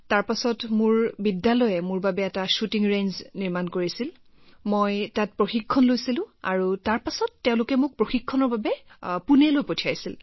তাৰ পিছত মোৰ স্কুলে মোৰ বাবে শ্বুটিং ৰেঞ্জ বনাইছিল তাৰ পিছত মই তাত প্ৰশিক্ষণ লৈছিলো আৰু তাৰ পিছত তেওঁলোকে মোক প্ৰশিক্ষণৰ বাবে পুনেলৈ পঠিয়াই দিছিল